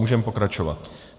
Můžeme pokračovat.